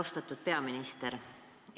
Austatud peaminister!